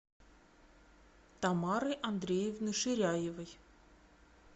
тамары андреевны ширяевой